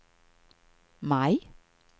maj